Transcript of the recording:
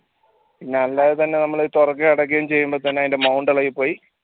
പിന്നെ അല്ലാതെ തന്നെ നമ്മൾ തുറക്കയും അടക്കയും ചെയ്യുമ്പോൾ തന്നെ അതിന്റെ mount ഇളകി പോയി